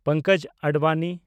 Pankaj Advani